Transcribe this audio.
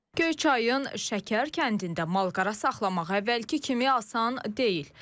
Göyçayın Şəkər kəndində malqara saxlamaq əvvəlki kimi asan deyil.